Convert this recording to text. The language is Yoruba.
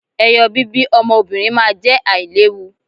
eyo bibi ọmọ obinrin ma je ailewu